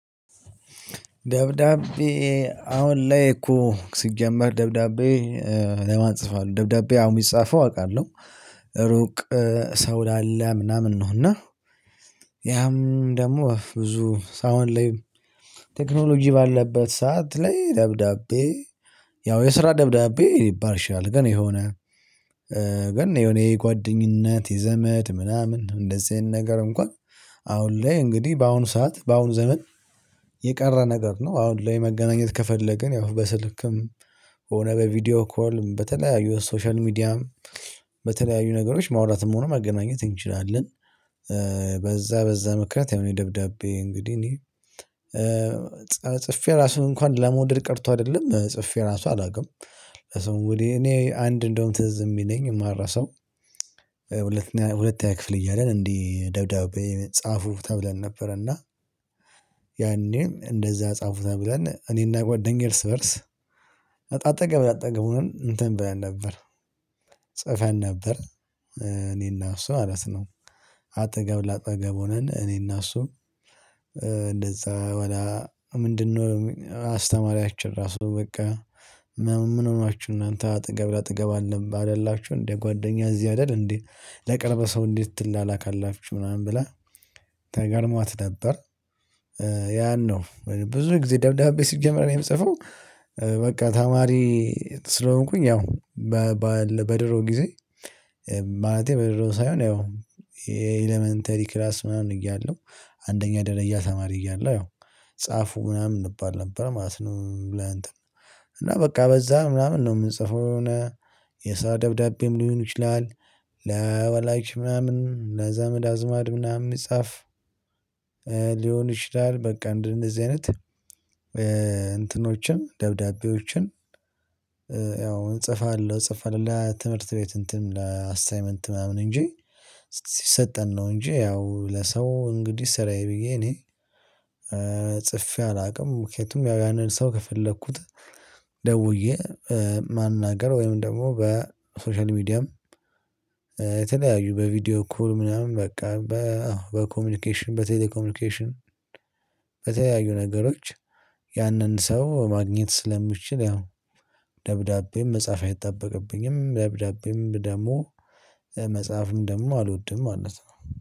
ደብዳቤ አሁን ላይ እኮ ሲጀምር ደብዳቤ ለማጽፍ አለው ደብዳቤ አሁን የሚጻፈው አውቃለሁ ሩቅ ሰው ላለ ምናምን ነው። እና ያም ደግሞ ብዙ አሁን ላይ ቴክኖሎጂ ባለበት ሰዓት ላይ ደብዳቤ ያው የስራ ደብዳቤ ሊባል ይችላል። የሆነ ገና የሆነ የጓደኝነት የዘመድ ምናምን እንደዚህ አይነት ነገር እንኳን አሁን ላይ እንግዲህ በአሁኑ ሰዓት በአሁኑ ዘመን የቀረ ነገር ነው። አሁን ላይ መገናኘት ከፈለግን ያው በስልክም ሆነ በቪዲዮ ኮልም በተለያዩ ሶሻል ሚዲያም በተለያዩ ነገሮች ማውራትም ሆነ መገናኘት እንችላለን። በዛ በዛ ምክንያት የኔ ደብዳቤ እንግዲህ እኔ ጽፌ ራሱ እንኳን ለመውደድ ቀርቶ አይደለም ጽፌ ራሱ አላውቅም። ለሰው እኔ እኔ አንድ እንደውም ትዝ የሚለኝ የማራሰው ሁለተኛ ክፍል እያለን እንዲህ ደብዳቤ ጻፉ ተብለን ነበር። እና ያኔም እንደዛ ጻፉ ተብለን እኔና ጓደኛዬ እርስ በእርስ አጠገብ አጠገቡን እንትን ብለን ነበር ጽፈን ነበር። እኔና እሱ ማለት ነው። አጠገብ ለአጠገብ ሆነን እኔና እሱ እንደዛ በኋላ ምንድነው? አስተማሪያችን ራሱ በቃ ምን ሆናችሁ እናንተ አጠገብ ለአጠገብ አለ አይደላችሁም እንዴ? ጓደኛ እዚህ አይደል እንዴ? ለቅርብ ሰው እንዴት ትላላካሁ ምናምን ብላ ተገርሟት ነበር። ያን ነው ብዙ ጊዜ ደብዳቤ ሲጀመር የምጽፈው። በቃ ተማሪ ስለሆንኩኝ ያው በድሮ ጊዜ ማለቴ በድሮ ሳይሆን ያው የኤለመንተሪ ክላስ ምናምን እያለው አንደኛ ደረያ ተማሪ እያለሁ ያው ጻፉ ምናምን እንባል ነበር ማለት ነው። ብለህ እና በቃ በዛ ምናምን ነው የምንጽፈው የሆነ የስራ ደብዳቤም ሊሆን ይችላል። ለወላጅ ምናምን ለዘመድ አዝማድ ምናምን የሚጻፍ ሊሆን ይችላል። በቃ እንደዚህ አይነት እንትኖችን ደብዳቤዎችን ያው እጽፋለሁ እጽፋለሁ ለትምህርት ቤት እንትን ለ አሳይመንት ነው። እንጂ ሲሰጠን ነው እንጂ ያው ለሰው እንግዲህ ስራዬ ብዬ እኔ። ጽፌ አላውቅም ምክንያቱም ያንን ሰው ከፈለኩት ደውዬ ማናገር ወይም ደግሞ በሶሻል ሚዲያም የተለያዩ በቪዲዮ ኩል ምናምን በቃ በኮሚኒኬሽን በቴሌ ኮሚኒኬሽን በተለያዩ ነገሮች ያንን ሰው ማግኘት ስለምትችል ያው ደብዳቤም መጻፍ አይጠበቅብኝም። ደብዳቤም ደግሞ መጽሐፍም ደግሞ አልወድም ማለት ነው